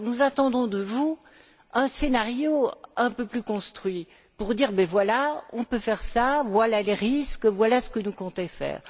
Nous attendons de vous un scénario un peu plus construit pour dire voilà, on peut faire cela, voilà les risques, voilà ce que nous comptons faire.